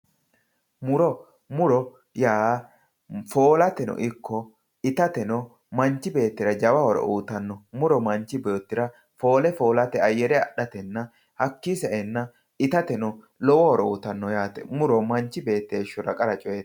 Muro, muro yaa foolate ikko ittateno manchi beettira jawa horo uyittano, muro manchi beettira foole foolate ayere adhatenna hakkini saenna itateno lowo horo uyittano yaate, muro manchi beetti heeshshora qara coyiti.